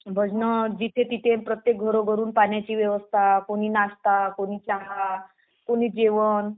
भजनं. जिथं तिथं प्रत्येक घरून पाण्याची व्यवस्था, कुणी नाश्ता, कुणी चहा, कुणी जेवण